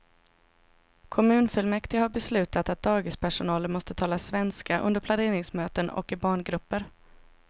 Kommunfullmäktige har beslutat att dagispersonalen måste tala svenska under planeringsmöten och i barngrupper.